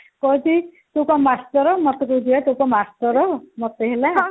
କହୁଛି ତୁ କଣ master ମତେ କହୁଛି ବା ତୁ କଣ master ମତେ ହେଲା